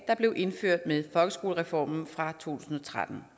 der blev indført med folkeskolereformen fra tusind og tretten